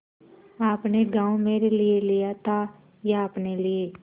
आपने गॉँव मेरे लिये लिया था या अपने लिए